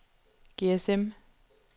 GSM